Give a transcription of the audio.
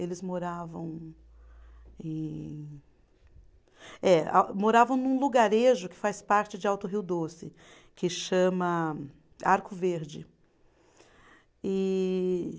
Eles moravam em. Eh a, moravam num lugarejo que faz parte de Alto Rio Doce, que chama Arco Verde. E